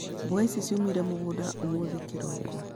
Mboga ĩcĩ ciumete mũgũnda ũmũthĩ kĩroko.